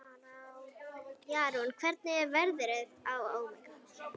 Jarún, hvernig er veðrið á morgun?